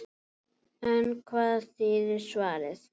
En hvað þýðir svarið?